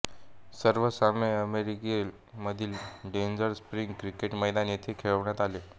सर्व सामने अल्मेरिया मधील डेझर्ट स्प्रिंग क्रिकेट मैदान येथे खेळविण्यात आले